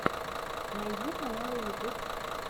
найди каналы ютуб